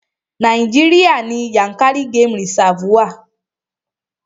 Nàíjíríà ní Yànkárí game reserve wa.